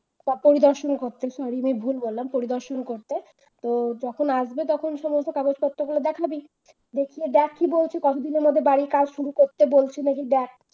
বা পরিদর্শন করতে sorry আমি ভুল বললাম পরিদর্শন করতে তো যখন আসবে তখন সমস্ত কাগজপত্র গুলো দেখাবি দেখিয়ে দেখ কি বলছে কতদিনের মধ্যে বাড়ির কাজ শুরু করতে বলছে নাকি দেখ